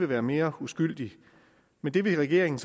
været mere uskyldigt men det vil regeringen